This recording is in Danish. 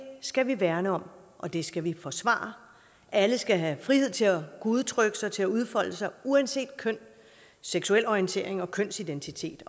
skal vi værne om og det skal vi forsvare alle skal have frihed til at kunne udtrykke sig til at udfolde sig uanset køn seksuel orientering og kønsidentitet